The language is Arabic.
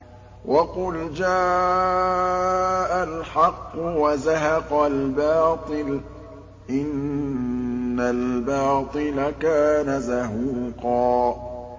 وَقُلْ جَاءَ الْحَقُّ وَزَهَقَ الْبَاطِلُ ۚ إِنَّ الْبَاطِلَ كَانَ زَهُوقًا